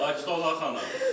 Sakit ol ay xanım.